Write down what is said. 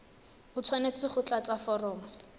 o tshwanetse go tlatsa foromo